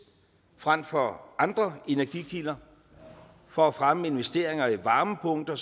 frem for andre energikilder for at fremme af investeringer i varmepumper